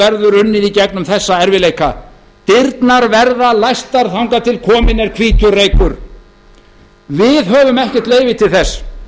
verður unnið í gegnum þessa erfiðleika dyrnar verða læstar þangað til kominn er hvítur reykur við höfum ekkert leyfi til þess sem